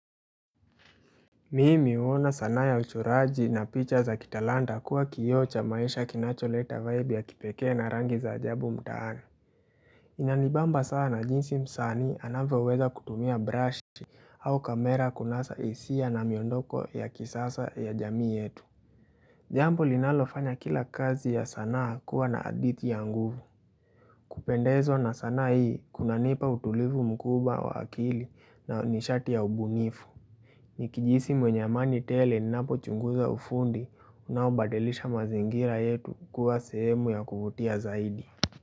Mimi huona sanaa ya uchoraji na picha za kitalanta kuwa kioo cha maisha kinacholeta vibe ya kipekee na rangi za ajabu mtaani. Inanibamba sana jinsi msanii anavyoweza kutumia brush au kamera kunasa hisia na miondoko ya kisasa ya jamii yetu. Jambo linalofanya kila kazi ya sanaa kuwa na hadithi ya nguvu. Kupendezwa na sanaa hii kunanipa utulivu mkubwa wa akili na nishati ya ubunifu. Nikijihisi mwenye amani tele ninapochunguza ufundi unaobadilisha mazingira yetu kua sehemu ya kuvutia zaidi.